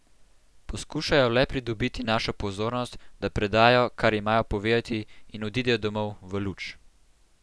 Poskušajo le pridobiti našo pozornost, da predajo, kar imajo povedati, in odidejo domov, v luč.